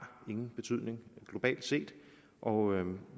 ingen betydning globalt set og